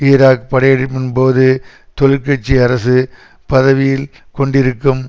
Iraq படையெடுப்பின்போது தொழிற்கட்சி அரசு பதவியில் கொண்டிருக்கும்